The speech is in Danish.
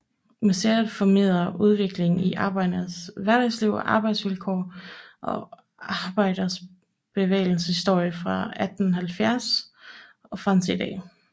Museet formidler udviklingen i arbejdernes hverdagsliv og arbejdsvilkår og arbejderbevægelsens historie fra 1870 og frem til i dag